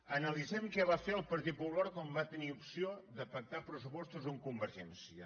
analitzem què va fer el partit popular quan va tenir opció de pactar pressupostos amb convergència